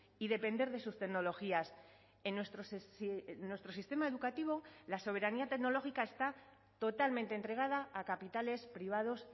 y depender de sus tecnologías en nuestro sistema educativo la soberanía tecnológica está totalmente entregada a capitales privados